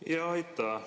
Aitäh!